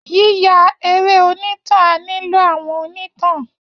Yíya eré onítàn á nílò àwọn onítàn